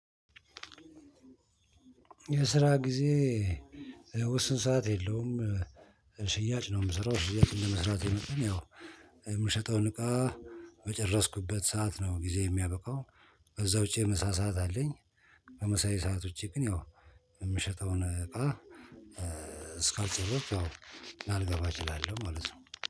የስራ ጊዜ ውስን ሰዓት የለውም ሽያጭ ነው የምሰራው ሽያጭ እንደመስራቴ መጠን ያው የምሸጠውን እቃ በጨረስኩበት ሰዓት ነው ጊዜዬ የሚያበቃው ከዛ ውጪ ምሳ ሰዓት አለኝ። ከምሳዬ ሰዓት ውጪ ግን ያው የምሸጠውን እቃ እስካልጨረስኩ ያው ላልገባ እችላለሁ ማለት ነው።